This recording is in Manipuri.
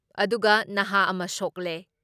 ꯑꯗꯨꯒ ꯅꯍꯥ ꯑꯃ ꯁꯣꯛꯂꯦ ꯫